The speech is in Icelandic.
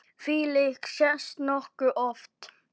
Þvílíkt sést nokkuð oft.